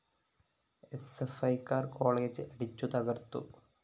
എസ്എഫ്‌ഐക്കാര്‍ college അടിച്ചു തകര്‍ത്തു